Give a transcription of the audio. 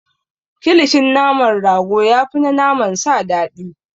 Kilishin naman rago ya fi na naman sa dadii.